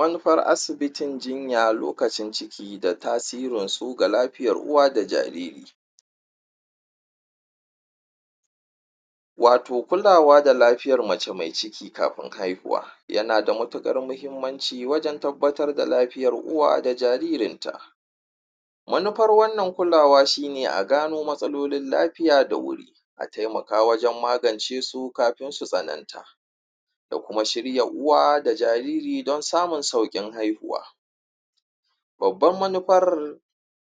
manufar asibitin jinya lokacin ciki da tasirinsu ga lafiyar uwa da jariri wato kulawa da lafiyar mace mai ciki kafin haihuwa yana da matuƙar mahimmanci wajan tabbatar da lafiyar uwa da jaririnta manufar wannan kulawa shine a gano matsalolin lafiya da wuri a taimaka wajan magancesu kafin su tsananta da kuma shirya uwa da jariri dan samun saukin haihuwa babbar manufar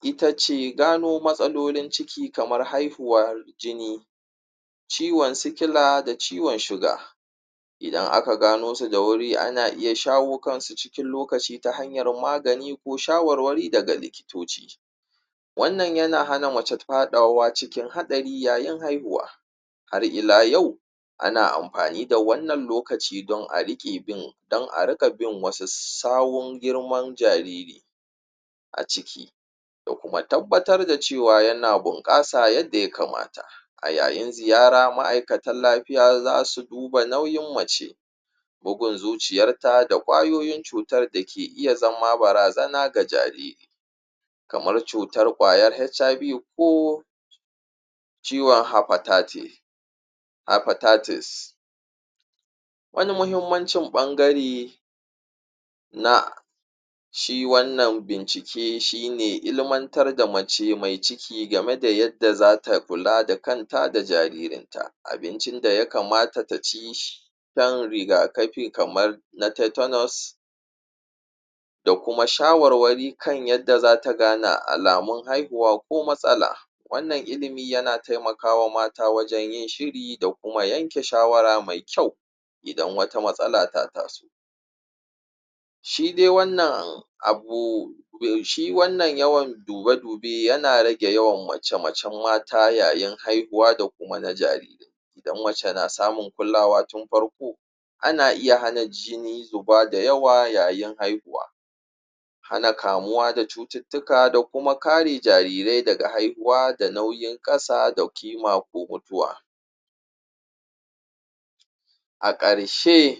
itace gano matsalolin ciki kamar haihuwar jini ciwan sikila da ciwan suga idan aka ganosu da wuri ana iya shawo kansu cikin lokaci ta hanyar magani ko shawarwari daga likitoci wannan yana hana mace faɗawa cikin haɗari yayin haihuwa har ila yau ana amfani da wannan lokaci don a riƙe bin don a riƙe bin wasu sahun girman jariri a ciki da kuma tabbatar da cewa yana bunƙasa yadda ya kamata ayayin ziyara ma'aikatan lafiya zasu duba nauyin mace bugun zuciyarta da ƙwayoyin cutar dake iya zama bara zana ga jariri kamar cutar kwayar HIV ko ciwan hipatatise wani muhimmancin ɓangare na shi wannan bincike shine ilmantar da mace mai ciki game da yadda zata kula da kanta da jaririnta abincin da ya kamata taci dan riga kafi kaman na taitainos da kuma shawarwari kan yadda zata gane alamun haihuwa ko matsalar wannan ilimi yana taimakawa mata wajan yin shiri da kuma yanke shawara me kyau idan wata matsala ta taso shidai wannan abu shi wannan yawan dube dube yana yana rage yawan mace macan mata yayin haihuwa da kuma na jariri idan mace na samun kulawa tun farko ana iya hana jini zuba da yawa ƙasa yayn haihuwa hana kamuwa da cututtuka da kuma kare jariri daga haihuwa da nauyin ƙasa da ƙima ko a ƙarshe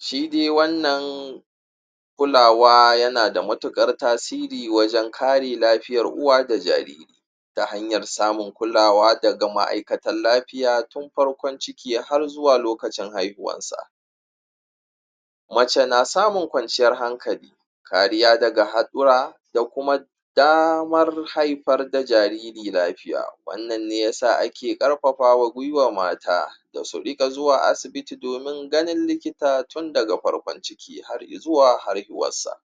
shi dai wannan kulawa yana da matuƙae tasiri wajan kare lafiyar uwa da jariri ta hanyar samun kulawa daga ma'aikatan lafiya tun farkon ciki har har zuwa lokacin haihuwansa mace na samun ƙwanciyar hankali kariya daga haɗura da kuma damar haifar da jariri lafiya wannan ne yasa ake ƙarfafawa gwiwa mata dasu riƙa zuwa asibiti domin ganin likita tun daga farkon ciki har izuwa haihuwarsa